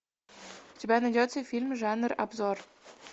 у тебя найдется фильм жанр обзор